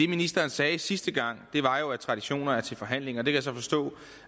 ministeren sagde sidste gang var jo at traditioner er til forhandling og jeg kan så forstå